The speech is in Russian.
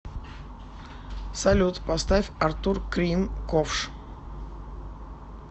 салют поставь артур крим ковш